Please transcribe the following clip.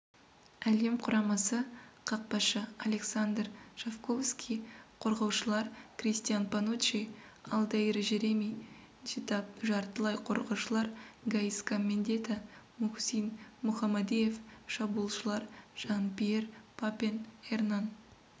әлем құрамасы қақпашы александр шовковский қорғаушылар кристиан пануччи алдаир жереми нджитап жартылай қорғаушылар гаиска мендьета мухсин мухамадиев шабуылшылар жан-пьер папен эрнан